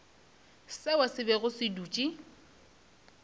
seo se bego se dutše